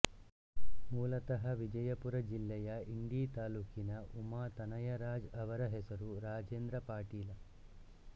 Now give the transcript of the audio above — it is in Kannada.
ಮೂಲತಃ ವಿಜಯಪುರ ಜಿಲ್ಲೆಯ ಇಂಡಿ ತಾಲೂಕಿನ ಉಮಾತನಯರಾಜ್ ಅವರ ಹೆಸರು ರಾಜೇಂದ್ರ ಪಾಟೀಲ